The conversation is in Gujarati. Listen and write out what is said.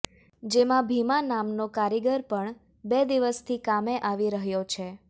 જેમાં ભીમા નામનો કારીગર પણ બે દિવસથી કામે આવી રહ્યો છે